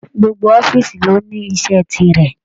Gbogbo ọ̀fiísí ló ní iṣẹ tirẹ.